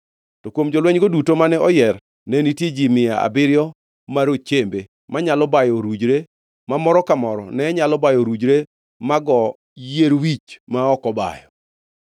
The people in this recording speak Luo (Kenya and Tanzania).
To kuom jolwenygo duto mane oyier ne nitie ji mia abiriyo ma rochembe manyalo bayo orujre, ma moro ka moro ne nyalo bayo orujre ma goo yier wich ma ok obayo.